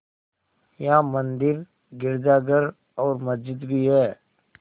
यहाँ मंदिर गिरजाघर और मस्जिद भी हैं